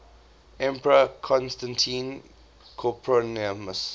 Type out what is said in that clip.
emperor constantine copronymus